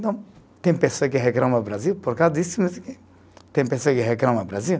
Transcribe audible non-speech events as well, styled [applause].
Então, tem pessoa que reclama o Brasil por causa disso, [unintelligible] tem pessoa que reclama o Brasil.